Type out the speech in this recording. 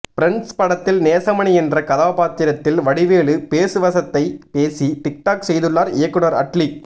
friends படத்தில் நேசமணி என்ற கதாப்பாத்திரத்தில் வடிவேலு பேசு வசத்தை பேசி டிக் டாக் செய்துள்ளார் இயக்குநர் அட்லி